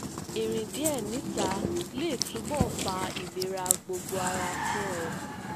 irìn díè níta le tunbọ fa ilera gbogbo ara fun ẹ